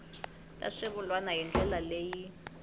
ta swivulwa hi ndlela leyi